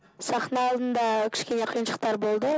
сахна алдында кішкене қиыншылықтар болды